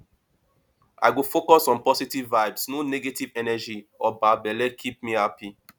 i go focus on positive vibes no negative energy or bad belle keep me happy